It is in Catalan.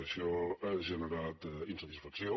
això ha generat insatisfacció